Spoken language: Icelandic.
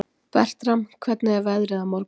Bertram, hvernig er veðrið á morgun?